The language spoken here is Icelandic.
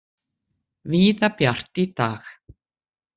Víða bjart í dag